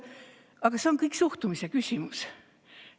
Aga see on kõik suhtumise küsimus.